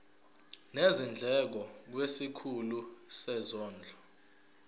nezindleko kwisikhulu sezondlo